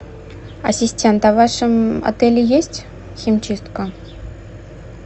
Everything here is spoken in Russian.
ассистент а в вашем отеле есть химчистка